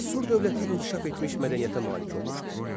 Assur dövləti inkişaf etmiş mədəniyyətə malik olmuşdu.